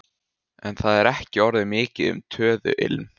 En það er ekki orðið mikið um töðuilm.